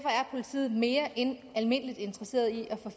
politiet mere end almindeligt interesseret i